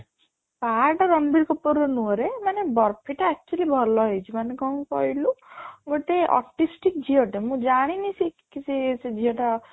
ପା ଟା ରଣବୀର କପୂର ର ନୁହଁ ରେ ମାନେ ଟା actually ଭଲ ହେଇଚି ମାନେ କ'ଣ କହିଲୁ ଗୋଟେ optimistic ଝିଅ ଟେ ମୁଁ ଜାଣିନି ସେ କି ସେ ସେ ଝିଅ ଟା